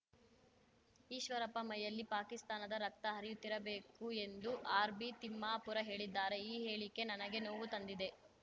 ಈಶ್ವರಪ್ಪ ಮೈಯಲ್ಲಿ ಪಾಕಿಸ್ತಾನದ ರಕ್ತ ಹರಿಯುತ್ತಿರಬೇಕು ಎಂದು ಆರ್‌ಬಿತಿಮ್ಮಾಪುರ ಹೇಳಿದ್ದಾರೆ ಈ ಹೇಳಿಕೆ ನನಗೆ ನೋವು ತಂದಿದೆ